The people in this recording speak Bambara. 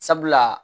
Sabula